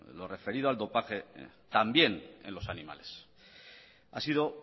lo referido al dopaje también en los animales ha sido